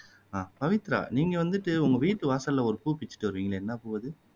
ஆஹ் பவித்ரா நீங்க வந்துட்டு உங்க வீட்டு வாசல்ல ஒரு பூ பிச்சுட்டு வருவீங்கல்ல என்ன பூ அது